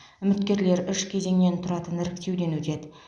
үміткерлер үш кезеңнен тұратын іріктеуден өтеді